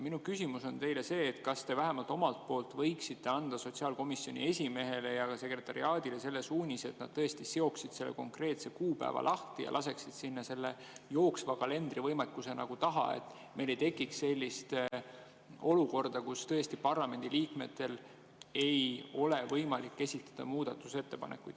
Minu küsimus on see, kas te vähemalt võiksite anda sotsiaalkomisjoni esimehele ja sekretariaadile suunise, et nad seoksid konkreetsest kuupäevast lahti ja jooksva kalendriga, et meil ei tekiks sellist olukorda, kus parlamendiliikmetel ei ole võimalik esitada muudatusettepanekuid.